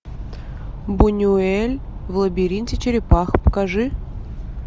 бунюэль в лабиринте черепах покажи